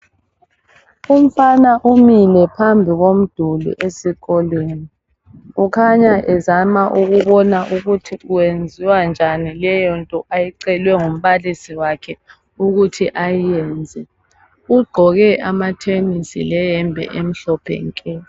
Umfana umile phambi komduli esikolweni. Kukhanya uzama ukubona ukuthi kwenziwa njani leyonto eyicelwe ngumbalisi wakhe ukuthi ayiyenze. Ugqoke amathenesi leyembe emhlophe nke.